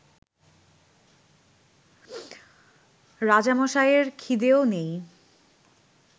রাজামশাইয়ের খিদেও নেই